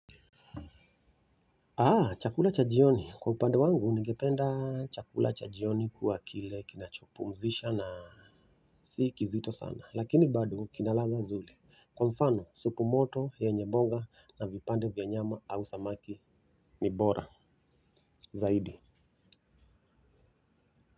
Chakula cha jioni. Kwa upande wangu, ningependa chakula cha jioni kuwa kile kinachopumzisha na sikizito sana. Lakini bado kinaladha nzuri. Kwa mfano, supu moto, yenye boga na vipande vya nyama au samaki ni bora. Zaidi.